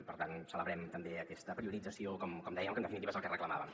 i per tant celebrem també aquesta priorització com dèiem que en definitiva és el que reclamàvem